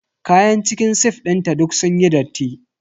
Kayan cikin sif dinta duk sunyi datti.